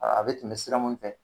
Aa a bɛ tɛmɛ sira minnu fɛ